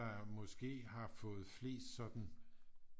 Måske har fået flest sådan